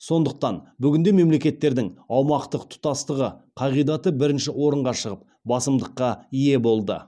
сондықтан бүгінде мемлекеттердің аумақтық тұтастығы қағидаты бірінші орынға шығып басымдыққа ие болды